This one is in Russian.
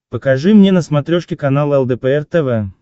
покажи мне на смотрешке канал лдпр тв